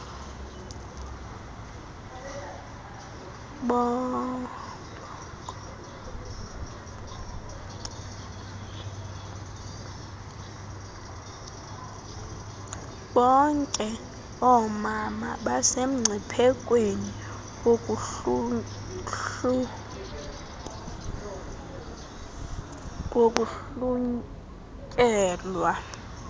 bonkomama basemngciphekweni wokuhlunyelwa